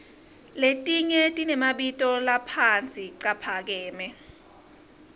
letnye tiremabito laphasi caphakeme